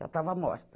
Já estava morta.